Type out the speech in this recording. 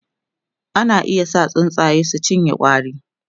ana iya sa tsuntsaye su cinye ƙwari